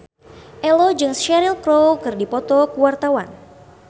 Ello jeung Cheryl Crow keur dipoto ku wartawan